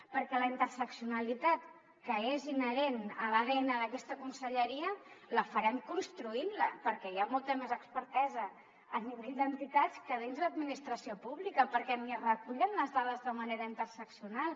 perquè la interseccionalitat que és inherent a l’adn d’aquesta conselleria la farem construint la perquè hi ha molta més expertesa a nivell d’entitats que dins l’administració pública perquè ni es recullen les dades de manera interseccional